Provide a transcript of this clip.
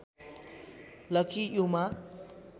lucky Yuma